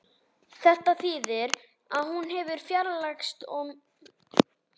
Þetta þýðir að hún hefur fjarlægst mikið